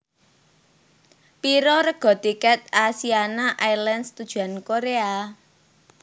Piro rega tiket Asiana Airlines tujuan Korea?